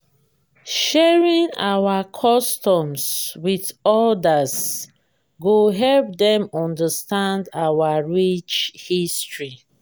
sharing our customs with others go help dem understand our rich history.